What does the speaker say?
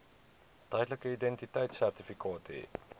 tydelike identiteitsertifikaat hê